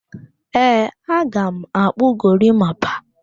Ee, aga m akpụ gorimapa